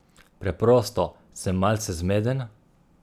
Preprosto, sem malce zmeden?